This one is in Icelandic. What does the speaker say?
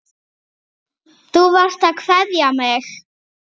Þú varst að kveðja mig.